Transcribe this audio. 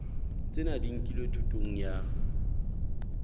tsena di nkilwe thutong ya